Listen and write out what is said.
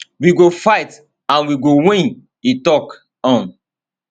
we go fight and we go win e tok um